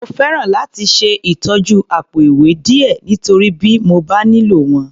Mo fẹ́ràn láti ṣe ìtọ́jú àpò-ìwé díẹ̀, nítorí bí mo bá nílò wọn.